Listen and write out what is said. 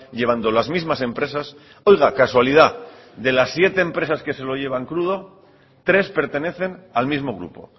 llevando las mismas empresas oiga casualidad de las siete empresas que se lo llevan crudo tres pertenecen al mismo grupo